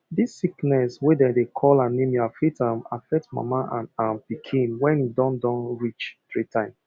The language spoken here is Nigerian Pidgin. this sickness wey dem dey call anemia fit um affect mama and um pikin when e don don reach three time